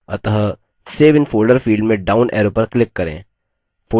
अतः save in folder field में down arrow पर click करें